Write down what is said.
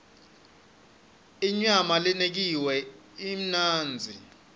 inyama lenekiwe imnandzi